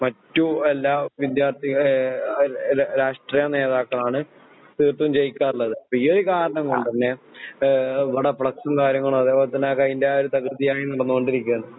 മറ്റു എല്ലാ വിദ്യാർത്ഥി ഏഹ് രാഷ്ട്രീയ നേതാക്കളാണ് തീര്‍ത്തും ജയിക്കാറുള്ളത്. അപ്പൊ ഈയൊരു കാരണം കൊണ്ട് തന്നെ ഏഹ് ഇവടെ ഫ്‌ളെക്‌സും കാര്യങ്ങളും അതേപോലെ തന്നെ അത് അതിന്റായ ഒരു തകൃതിയായി നടന്നോണ്ടിരിക്കയാണ്.